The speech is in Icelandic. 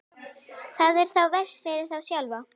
Það er þá verst fyrir þá sjálfa.